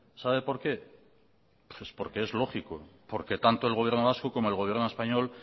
sabe por qué porque es lógico porque tanto el gobierno vasco como el gobierno español